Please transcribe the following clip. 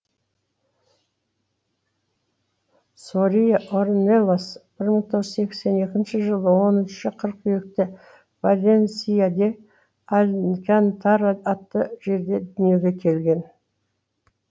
сория орнелас бір мың тоғыз жүз сексен екінші жылы он үшінші қыркүйекте валенсия де алькантара атты жерде дүниеге келген